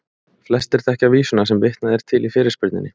Flestir þekkja vísuna sem vitnað er til í fyrirspurninni.